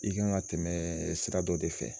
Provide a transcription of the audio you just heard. I kan ka tɛmɛ sira dɔ de fɛ